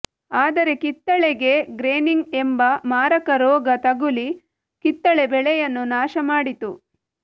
ಆದರೆ ಕಿತ್ತಳೆಗೆ ಗ್ರೇನಿಂಗ್ ಎಂಬ ಮಾರಕ ರೋಗ ತಗುಲಿ ಕಿತ್ತಳೆ ಬೆಳೆಯನ್ನು ನಾಶ ಮಾಡಿತು